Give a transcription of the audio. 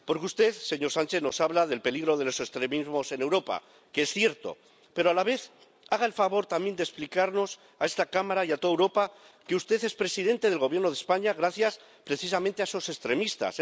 Porque usted, señor Sánchez, nos habla del peligro de los extremismos en Europa, que es cierto, pero a la vez, haga el favor de explicarnos a esta Cámara y a toda Europa que usted es presidente del Gobierno de España gracias, precisamente, a esos extremistas.